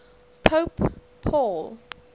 pope paul